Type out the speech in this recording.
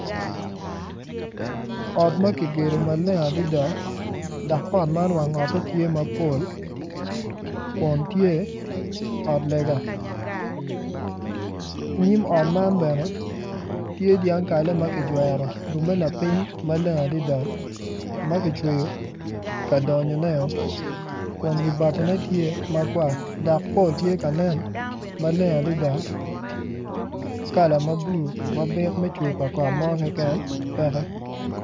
Ot ma kigedo maleng adada dok ot man wang ote tye mapol kun tye ot lega. Nyim ot man bene tye dyang kalle ma kijwero lapiny maleng adada ma kicweyo ka donyoneo kun wi batine tye ma kwar kun pol tye ka nen maleng adada kala ma bulu ma byek me cwer pa kot mo keken peke.